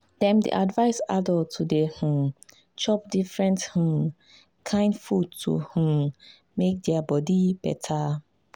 dem dey advise adults to dey um chop different um kain food to um make their body better.